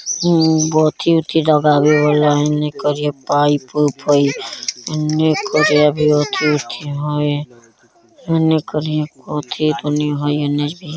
मरम्म बहुत ही अच्छी जगह एने करिया पाइप - उइप हई | एने करिया भी अथि उथी हई एने करिया अथि तनी हई एने भी |